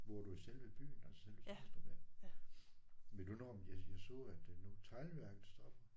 Bor du i selve byen altså selve Stenstrup ja. Ved du noget om jeg jeg så at nu teglværket stopper